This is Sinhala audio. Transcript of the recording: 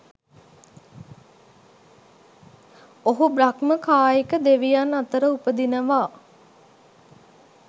ඔහු බ්‍රහ්ම කායික දෙවියන් අතර උපදිනවා.